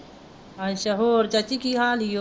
ਅੱਛਾ ਹੋਰ ਚਾਚੀ ਕੀ ਹਾਲ ਈ ਓ